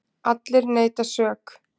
Allir neita sök.